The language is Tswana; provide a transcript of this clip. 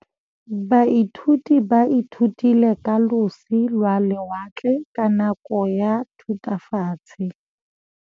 Baithuti ba ithutile ka losi lwa lewatle ka nako ya Thutafatshe.